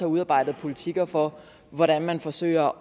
udarbejdet politikker for hvordan man forsøger